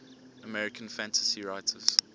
american fantasy writers